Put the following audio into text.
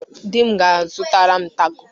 Di m ga-azụtara m tako.